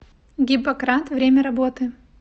гиппократ время работы